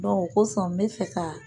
o kosɔn n be fɛ ka